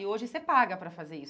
E hoje, você paga para fazer isso.